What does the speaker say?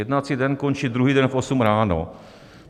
Jednací den končí druhý den v 8 ráno.